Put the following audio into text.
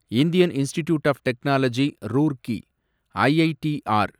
Indian institute of technology Roorkee, IITR